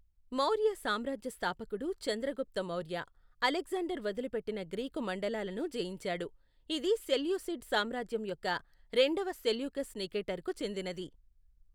మౌర్య సామ్రాజ్య స్థాపకుడు చంద్రగుప్త మౌర్య, అలెగ్జాండర్ వదిలిపెట్టిన గ్రీకు మండలాలను జయించాడు, ఇది సెల్యూసిడ్ సామ్రాజ్యం యొక్క రెండవ సెల్యూకస్ నికేటర్కు చెందినది.